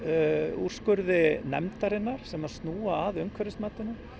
úrskurði nefndarinnar sem að snúa að umhverfismatinu